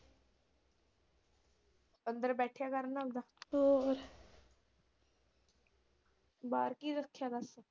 ਅੰਦਰ ਬੈਠਿਆਂ ਆਉਂਦਾ ਹੋਰ ਬਾਹਰ ਕੀ ਰੱਖਿਆ ਵਾ।